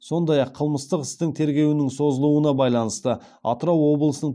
сондай ақ қылмыстық істін тергеудің созылуына байланысты атырау облысының